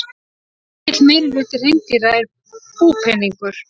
Mikill meirihluti hreindýra er búpeningur.